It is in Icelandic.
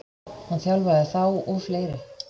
Hann þjálfaði þá og fleiri.